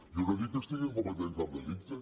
jo no dic que estiguin cometent cap delicte